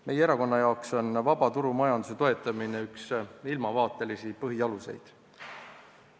Meie erakonna jaoks on vaba turumajanduse toetamine üks ilmavaatelisi põhialuseid.